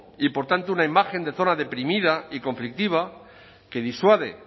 y por tanto una imagen de zona deprimida y conflictiva que disuade